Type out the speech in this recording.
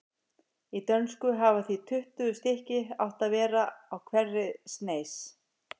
Í dönsku hafa því tuttugu stykki átt að vera á hverri sneis.